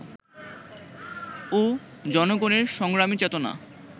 ও জনগণের সংগ্রামী চেতনা